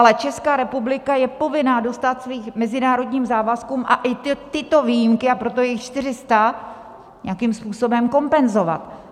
Ale Česká republika je povinná dostát svým mezinárodním závazkům a i tyto výjimky, a proto je jich 400, nějakým způsobem kompenzovat.